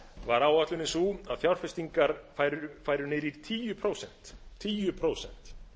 var áætlunin sú að fjárfestingar færu niður í tíu prósent tíu prósent